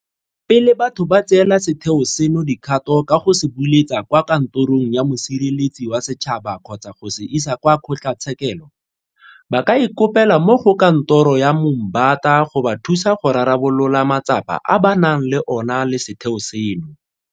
Pele batho ba tseela setheo seno dikgato ka go se buletsa kwa Kantorong ya Mosireletsi wa Setšhaba kgotsa go se isa kwa kgotlatshekelo, ba ka ikopela mo go Kantoro ya Moombata go ba thusa go rarabolola matsapa a ba nang le ona le setheo seno.